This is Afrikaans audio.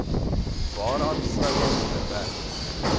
waaraan vroue onderwerp